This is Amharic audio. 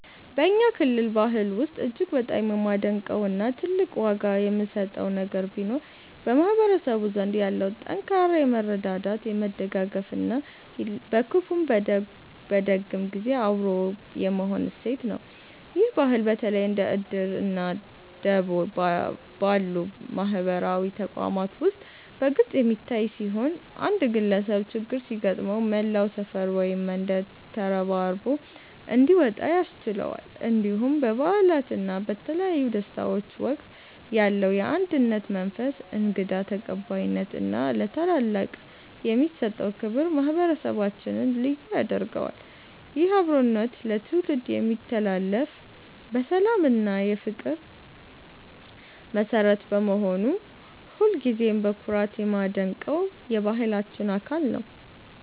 በእኛ ክልል ባህል ውስጥ እጅግ በጣም የማደንቀው እና ትልቅ ዋጋ የምሰጠው ነገር ቢኖር በማህበረሰቡ ዘንድ ያለው ጠንካራ የመረዳዳት፣ የመደጋገፍ እና በክፉም በደግም ጊዜ አብሮ የመሆን እሴት ነው። ይህ ባህል በተለይ እንደ 'እድር' እና 'ደቦ' ባሉ ማህበራዊ ተቋማት ውስጥ በግልጽ የሚታይ ሲሆን፣ አንድ ግለሰብ ችግር ሲገጥመው መላው ሰፈር ወይም መንደር ተረባርቦ እንዲወጣ ያስችለዋል። እንዲሁም በበዓላት እና በተለያዩ ደስታዎች ወቅት ያለው የአንድነት መንፈስ፣ እንግዳ ተቀባይነት እና ለታላላቅ የሚሰጠው ክብር ማህበረሰባችንን ልዩ ያደርገዋል። ይህ አብሮነት ለትውልድ የሚተላለፍ የሰላም እና የፍቅር መሠረት በመሆኑ ሁልጊዜም በኩራት የማደንቀው የባህላችን አካል ነው።